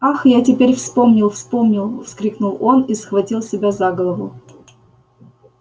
ах я теперь вспомнил вспомнил вскрикнул он и схватил себя за голову